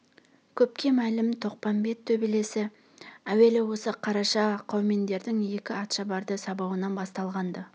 көпке мәлім тоқпамбет төбелесі әуелі осы қараша қаумендердің екі атшабарды сабауынан басталған-ды